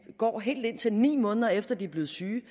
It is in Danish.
går helt indtil ni måneder efter de er blevet syge